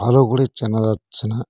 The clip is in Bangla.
ভালো করে চেনা যাচ্ছে না।